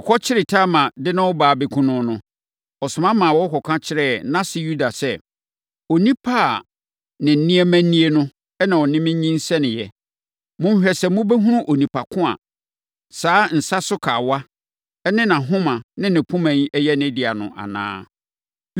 Wɔkɔkyeree Tamar de no reba abɛkum no no, ɔsoma ma wɔkɔka kyerɛɛ nʼase Yuda sɛ, “Onipa a ne nneɛma nie no na ɔne me nyinsɛneeɛ. Monhwɛ sɛ mobɛhunu onipa ko a saa nsa so kawa ne nʼahoma ne poma yi yɛ ne dea no anaa.”